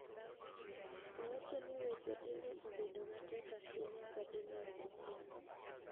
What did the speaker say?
Owacho ni weche dine obedo matek ahinya ka dine ok osomo.